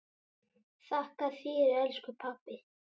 Þakka þér elsku pabbi.